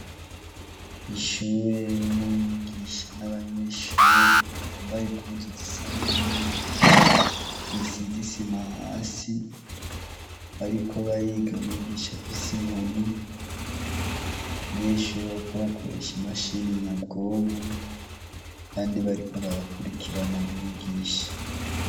Ishure ririmwo umwigisha n' abanyeshure bambaye impuzu zisa n' ubururu risize isima hasi bariko bariga umwigisha afise inkoni abanyeshure bariko bakoresha imashini nyabwonko abandi bariko barakurikira na mwigisha.